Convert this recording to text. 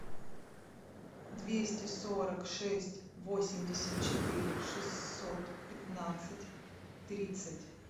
двести сорок шесть восемьдесят четыре шестьсот пятнадцать тридцать